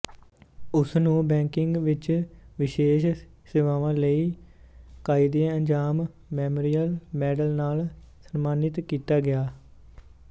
ਉਸ ਨੂੰ ਬੈਂਕਿੰਗ ਵਿਚ ਵਿਸ਼ੇਸ਼ ਸੇਵਾਵਾਂ ਲਈ ਕਾਇਦਏਆਜ਼ਮ ਮੈਮੋਰੀਅਲ ਮੈਡਲ ਨਾਲ ਸਨਮਾਨਿਤ ਕੀਤਾ ਗਿਆ